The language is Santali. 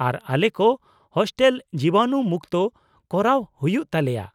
ᱟᱨ ᱟᱞᱮ ᱠᱚ ᱦᱳᱥᱴᱮᱞ ᱡᱤᱵᱟᱱᱩ ᱢᱩᱠᱛᱚ ᱠᱚᱨᱟᱣ ᱦᱩᱭᱩᱜ ᱛᱟᱞᱮᱭᱟ ᱾